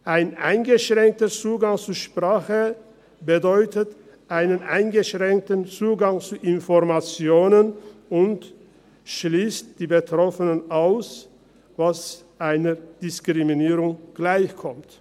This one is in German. Ein eingeschränkter Zugang zu Sprache bedeutet einen eingeschränkten Zugang zu Informationen und schliesst die Betroffenen aus, was einer Diskriminierung gleichkommt.